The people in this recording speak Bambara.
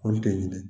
Olu tɛ ɲini